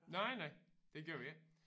Nej nej det gør vi ikke